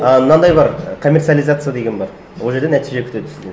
і мынандай бар коммерциализация деген бар ол жерде нәтиже күтеді сізден